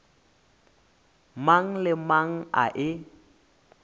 mang le mang a e